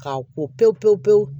K'a ko pewu pewu pewu